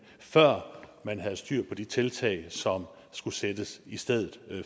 før man havde styr på de tiltag som skulle sættes i stedet